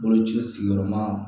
Boloci sigiyɔrɔma